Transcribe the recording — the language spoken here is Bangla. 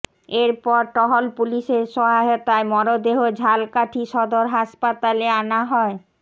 এর পর টহল পুলিশের সহায়তায় মরদেহ ঝালকাঠি সদর হাসপাতালে আনা হয়